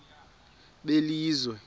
belizwe